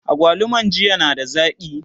agwaluman jiya na da zaki?